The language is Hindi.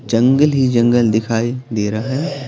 जंगल ही जंगल दिखाई दे रहा है।